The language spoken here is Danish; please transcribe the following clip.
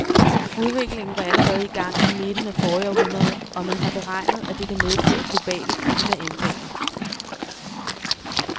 Udviklingen var allerede i gang i midten af forrige århundrede, og man har beregnet, at det kan medføre globale klimaændringer.